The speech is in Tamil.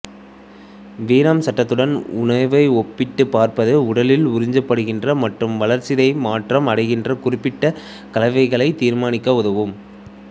வீணாம்சத்துடன் உணவை ஒப்பிட்டுப் பார்ப்பது உடலில் உறிஞ்சப்படுகின்ற மற்றும் வளர்ச்சிதை மாற்றம் அடைகின்ற குறிப்பிட்ட கலவைகளைத் தீர்மானிக்க உதவும்